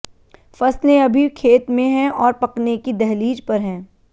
फसलें अभी खेत में हैं और पकने की दहलीज पर हैं